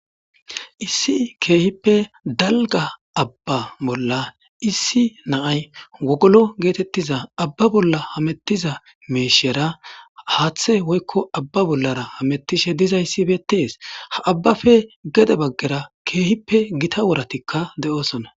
issi keehippe dalga abba bolla issi naay wogolo geetettiza abba bolla hamettiza meeshera haaththe woykko abba bollara hamettishe diza issibetees ha abbafe gede baggera keehippe gita woratikka de7oosonna